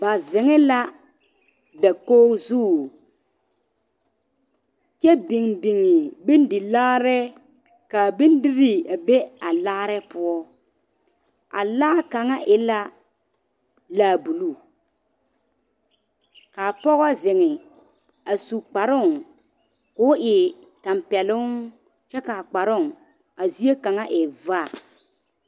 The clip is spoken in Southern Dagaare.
Ba zeŋ la dakogi zu kyɛ biŋ biŋ bondi laare k'a bondirii be a laare poɔ, a laa kaŋa e la laa buluu k'a pɔgɔ zeŋ a su kparoŋ k'o e tampɛloŋ kyɛ k'a kparoŋ a zie kaŋa e vaa.